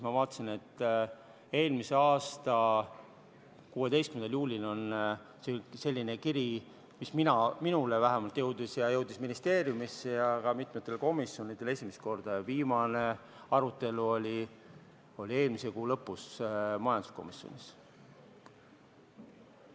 Ma vaatasin, et eelmise aasta 16. juulil tuli selline kiri, mis vähemalt minu kätte jõudis ja see jõudis ministeeriumisse ja ka mitmesse komisjoni, ja viimane arutelu oli eelmise kuu lõpus majanduskomisjonis.